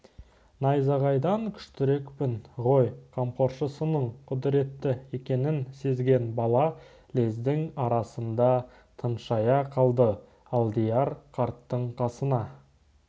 найзағайдан күштірекпін ғой қамқоршысының құдіретті екенін сезген бала лездің арасында тыншая қалды алдияр қарттың қасына